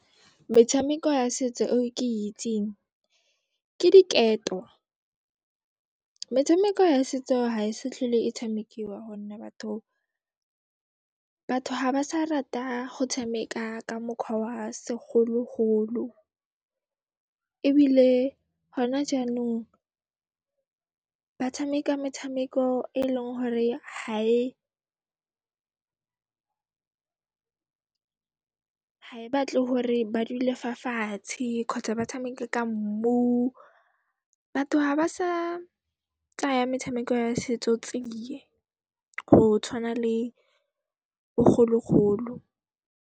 Metshameko ya setso eo ke e itseng, ke diketo. Metshameko ya setso ha e se tlhole e tshamekiwa go nne batho ha ba sa rata go tshameka ka mokhwa wa segologolo ebile gona jaanong ba tshameka metshameko e eleng hore gae batle hore ba dule fa fatshe kgotsa ba tshameke ka mmu. Batho ha ba sa tsaya metshameko ya setso tsiye go tshwana le bogologolo.